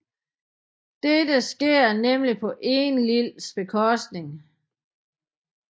Dette sker nemlig på Enlils bekostning